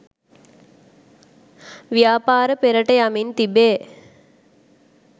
ව්‍යාපාර පෙරට යමින් තිබේ